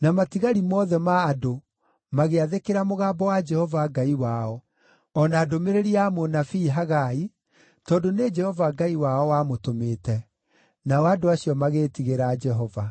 na matigari mothe ma andũ, magĩathĩkĩra mũgambo wa Jehova Ngai wao, o na ndũmĩrĩri ya mũnabii Hagai, tondũ nĩ Jehova Ngai wao wamũtũmĩte. Nao andũ acio magĩĩtigĩra Jehova.